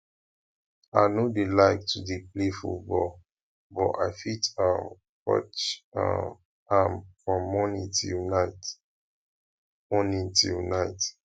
i no dey like to play football but i fit um watch um am from morning till night morning till night